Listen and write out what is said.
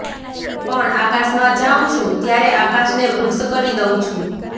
પણ આકાશમાં જાઉં છું ત્યારે આકાશને વૃક્ષ કરી દઉં છું